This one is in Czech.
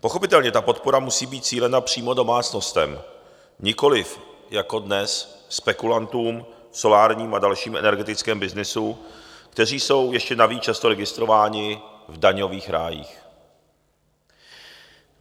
Pochopitelně ta podpora musí být cílena přímo domácnostem, nikoli jako dnes spekulantům v solárním a dalším energetickém byznysu, kteří jsou ještě navíc často registrováni v daňových rájích.